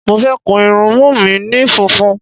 Mo fẹ́ kun irunmú mi ni funfun.